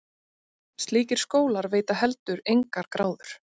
Slíkir skólar veita heldur engar gráður.